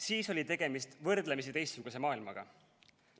Siis oli tegemist võrdlemisi teistsuguse maailmaga.